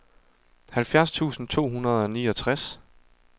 halvfjerds tusind to hundrede og niogtres